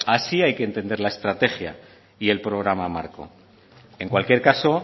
así hay que entender la estrategia y el programa marco en cualquier caso